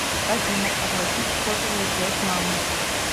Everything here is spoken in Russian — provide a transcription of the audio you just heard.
афина оплатить сотовую связь мамы